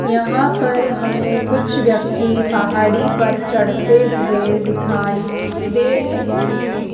यहां पर हमें कुछ व्यक्ति पहाड़ी पर चढ़ते हुए दिखाई दे रहे है।